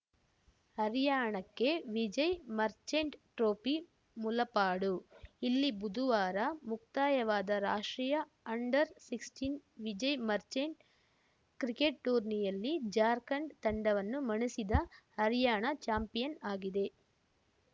ಹರಿಯಣಕ್ಕೆ Vijay Merchant trophy Mulapadu ಇಲ್ಲಿ ಬುದುವಾರ ಮುಕ್ತಾಯವಾದ ರಾಷ್ಟ್ರೀಯ ಅಂಡರ್‌ಸಿಕ್ಸ್ಟಿನ್ ವಿಜಯ್‌ ಮರ್ಚೆಂಟ್‌ ಕ್ರಿಕೆಟ್‌ ಟೂರ್ನಿಯಲ್ಲಿ ಜಾರ್ಖಂಡ್‌ ತಂಡವನ್ನು ಮಣಿಸಿದ ಹರಿಯಣ ಚಾಂಪಿಯನ್‌ ಆಗಿದೆ